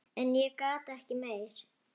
En ég gat ekki meir.